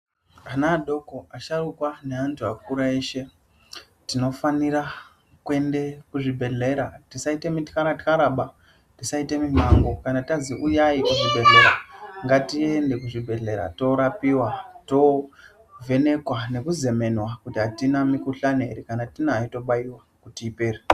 Ana adoko, asharukwa neantu akura eshe tinofanira kuende kuzvibhedhlera, tisaite mityara-tyaraba, tisaite mimango. Kana tazi uyai kuzvibhedhlera, ngatiende kuzvibhedhlera toorapiwa, tovhenekwa nekuzemenwa kuti hatina mikuhlani here, kana tiinayo tobaiwa kuti ipere.